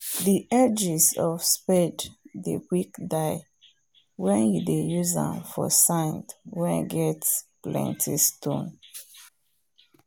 the edges of spade dey quick die wen you dey use am for sand wen get plenty stone